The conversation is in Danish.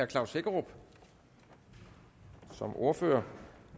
klaus hækkerup som ordfører